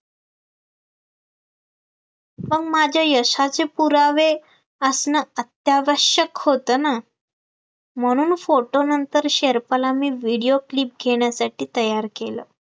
पण माझ्या यशाचे पुरावे असणं अत्यावश्यक होतं ना म्हणून photo नंतर शेरपाला मी video clip घेण्यासाठी तयार केलं